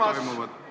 Ikka!